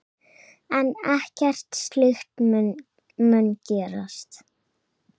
En ekkert slíkt mun gerast.